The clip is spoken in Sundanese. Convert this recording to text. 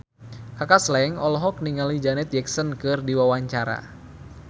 Kaka Slank olohok ningali Janet Jackson keur diwawancara